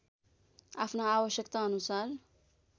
आफ्ना आवश्यकता अनुसार